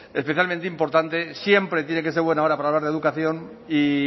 especialmente importante siempre tiene que ser buena hora para hablar de educación y